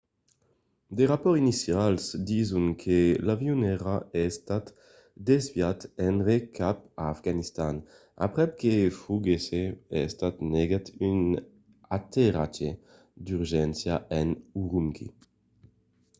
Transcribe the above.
de rapòrts inicials dison que l'avion èra estat desviat enrè cap a afganistan aprèp que foguèsse estat negat un aterratge d'urgéncia a ürümqui